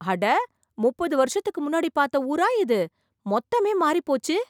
அட! முப்பது வருஷத்துக்கு முன்னாடி பார்த்த ஊரா இது ! மொத்தமே மாறி போச்சு.